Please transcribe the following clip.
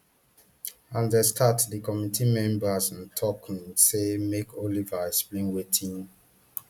as dem start di committee members tok say make oliver explain wetin